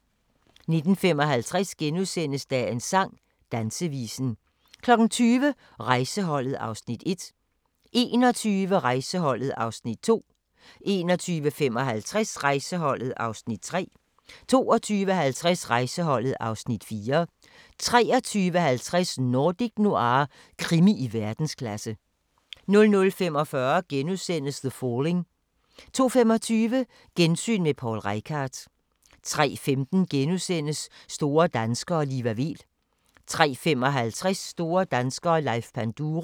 19:55: Dagens sang: Dansevisen * 20:00: Rejseholdet (Afs. 1) 21:00: Rejseholdet (Afs. 2) 21:55: Rejseholdet (Afs. 3) 22:50: Rejseholdet (Afs. 4) 23:50: Nordic Noir – krimi i verdensklasse 00:45: The Falling * 02:25: Gensyn med Poul Reichhardt 03:15: Store danskere - Liva Weel * 03:55: Store danskere - Leif Panduro